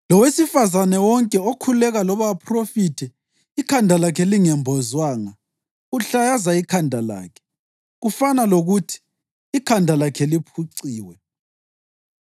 Lowesifazane wonke okhuleka loba aphrofithe ikhanda lakhe lingembozwanga uhlayaza ikhanda lakhe, kufana lokuthi ikhanda lakhe liphuciwe.